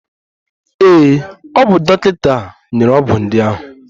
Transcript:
Ee, o bu dọkịta nyere ọgwụ ndị ahụ.